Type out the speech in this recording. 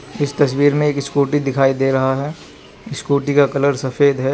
इस तस्वीर में एक स्कूटी दिखाई दे रहा है स्कूटी का कलर सफेद है।